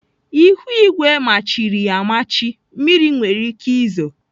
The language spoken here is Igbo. Ihuigwe majiri amaji. Mmiri nwere ike izo.